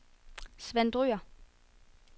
Svend Dyhr